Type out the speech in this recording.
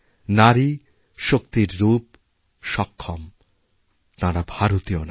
নারী শক্তির রূপ সক্ষম তাঁরা ভারতীয় নারী